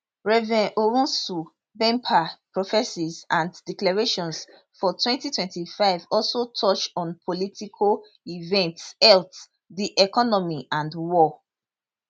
rev owusu bempah prophesies and declarations for 2025 also touch on political events health di economy and war